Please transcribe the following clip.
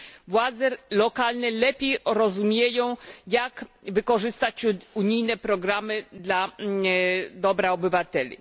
Władze lokalne lepiej rozumieją, jak wykorzystać unijne programy dla dobra obywateli.